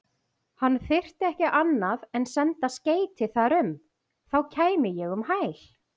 Hann þyrfti ekki annað en senda skeyti þar um, þá kæmi ég um hæl.